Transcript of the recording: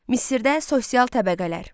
Misirdə sosial təbəqələr.